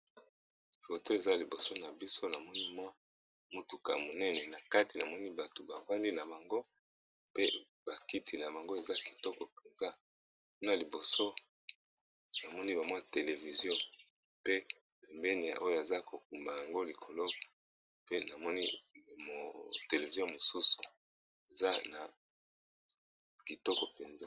Foto eza liboso na biso na moni mwa motuka monene, na kati namoni bato bafandi na bango pe ba kiti na bango eza kitoko mpenza. Na liboso na moni ba mwa television, pe pembeni ya oyo aza ko kumba yango likolo pe namoni mo television mosusu eza na kitoko mpenza.